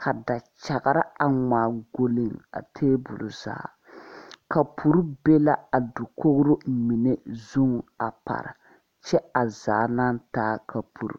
ka dakyagre aŋ ngmaa gɔlleŋ tabole zaa kapure be la a dokogro mine zuŋ a pare kyɛ a zaa naa taa kapuro.